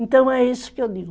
Então é isso que eu digo.